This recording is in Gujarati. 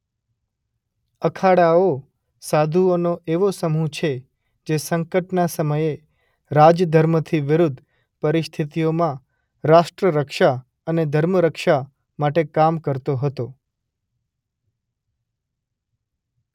અખાડાઓ સાધુઓનો એવો સમૂહ છે જે સંકટના સમયે રાજધર્મથી વિરુદ્ધ પરિસ્થિતિઓમાં રાષ્ટ્રરક્ષા અને ધર્મરક્ષા માટે કામ કરતો હતો.